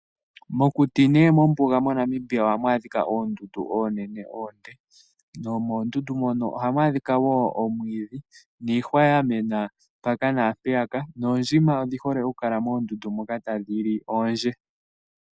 Mokuti nenge mombuga moNamibia ohamu adhika oondundu oonene oonde. Nomoondundu mono ohamu adhika wo omwiidhi niihwa yamena mpaka naampeyaka noondjima odhihole okukala moondundu moka tadhi li oondje.